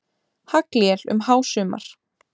Haglél um hásumar.